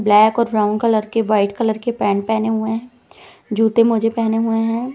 Black और brown colour के white colour के पैंट पहने हुए हैं जूते मोजे पहने हुए हैं।